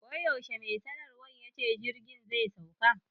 Wai yaushe mai sanarwan yace jirgin zai sauka?